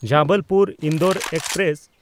ᱡᱚᱵᱚᱞᱯᱩᱨ–ᱤᱱᱫᱳᱨ express